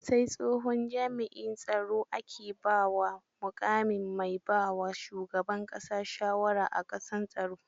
Sai tsohon jami'in tsaro ake ba wa muƙamin mai baa wa shuban ƙasa shawara a kan tsaro.